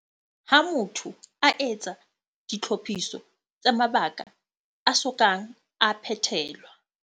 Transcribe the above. Ha motho a etsa ditlhophiso tsa mabaka a so kang a phethelwa.